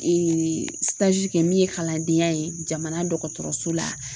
Ee kɛ min ye kalandenya ye jamana dɔgɔtɔrɔso la